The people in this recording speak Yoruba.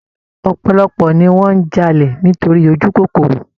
Ọ̀pọ̀lọpọ̀ ni wọn n jalè nítorí ojúkòkòrò